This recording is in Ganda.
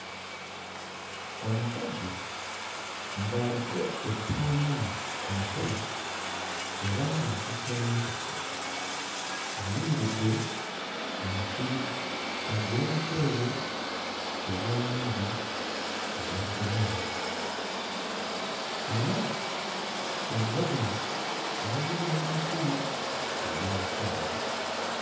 Omusajja ng'aliko ekitambaala ku mutwe era ng'akutte n'akasero ayimiridde mu musiri ogw'omuceere ogwa langi eya green. Era emabega we waliyo n'emiti egy'ebisansa.